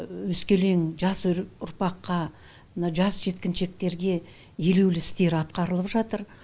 өскелең жас ұрпаққа мына жас жеткіншектерге елеулі істер атқарылып жатыр